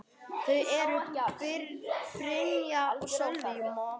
Þau eru: Brynja og Sölvi.